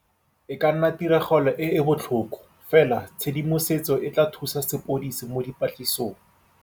E ka nna tiragalo e e botlhoko, fela tshedimosetso e tla thusa sepodisi mo dipatlisisong